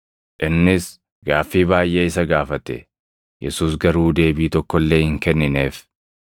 Innis Gaaffii baayʼee isa gaafate; Yesuus garuu deebii tokko illee hin kennineef.